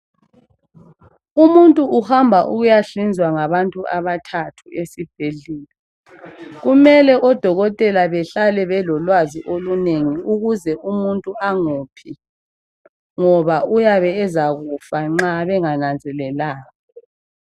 Umuntu uhamba ukuyahlinzwa ngabantu abathathu esibhedlela. Kumele odokotela behlale abelolwazi olunengi ukuze umuntu angophi, ngoba uyabe ezakufa nxa bengananzelelanga.